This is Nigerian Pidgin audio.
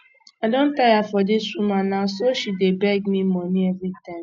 i don tire for dis woman na so she dey beg me money everytime